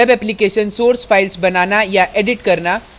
web applications source files बनाना या edit करना